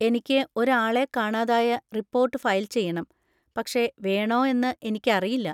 എനിക്ക് ഒരു ആളെ കാണാതായ റിപ്പോർട്ട് ഫയൽ ചെയ്യണം, പക്ഷേ വേണോ എന്ന് എനിക്കറിയില്ല.